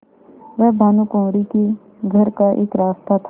वह भानुकुँवरि के घर का एक रास्ता था